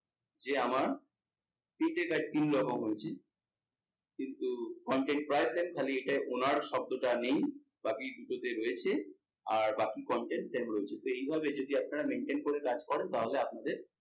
যে আমার তিনটে type তিন রকম হয়েছে কিন্তু content প্রায় same খালি এটায় owner শব্দটা নেই একই দুটোতে রয়েছে আর বাকি content same রয়েছে তো এইভাবে যদি আপনারা maintainn করে কাজ করেন তাহলে আপনাদের,